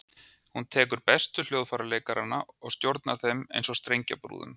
Hún tekur bestu hljóðfæraleikarana og stjórnar þeim eins og strengjabrúðum.